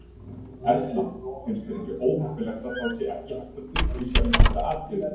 Erla: Finnst þér ekki óheppilegt að það sé ekki hægt að upplýsa um þetta atriði?